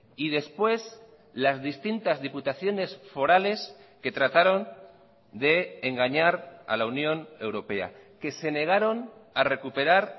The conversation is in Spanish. y después las distintas diputaciones forales que trataron de engañar a la unión europea que se negaron a recuperar